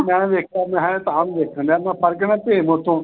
ਮੈਂ ਵੇਖਿਆ ਮੈਂ ਤਾਹਾ ਨੂੰ ਵੇਖਣ ਦਿਆ, ਬਣ ਗਿਆ ਨਾ ਭੀਮ ਉਥੋਂ।